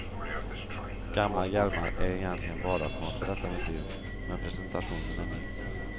Gamla hjälmar är egentligen vardagsmat på detta museum, men presentationen är ny.